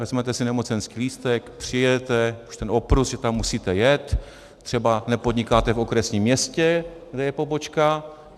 Vezmete si nemocenský lístek, přijedete, už ten opruz, že tam musíte jet, třeba nepodnikáte v okresním městě, kde je pobočka.